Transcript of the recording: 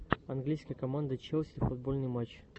английская команда челси футбольный матч